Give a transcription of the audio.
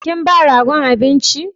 Kin ba ragon abinci?